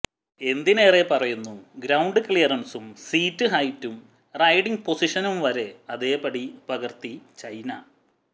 എന്തിനേറെപ്പറയുന്നു ground ക്ലിയറന്സും seat ഹൈറ്റും riding പൊസിഷനും വരെ അതേപടി പകര്ത്തി ചൈന